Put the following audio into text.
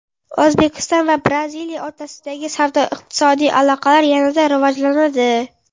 O‘zbekiston va Braziliya o‘rtasidagi savdo-iqtisodiy aloqalar yanada rivojlanadi .